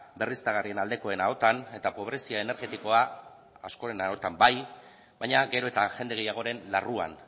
berriztagarrien aldekoen ahotan eta pobrezia energetikoa askoren ahotan bai baina gero eta jende gehiagoren larruan